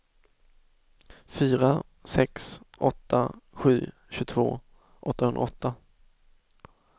fyra sex åtta sju tjugotvå åttahundraåtta